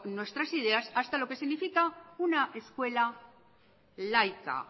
nuestras ideas hasta lo que significa una escuela laica